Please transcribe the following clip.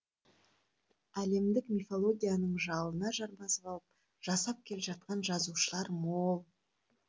әлемдік мифологияның жалына жармасып алып жасап келе жатқан жазушылар мол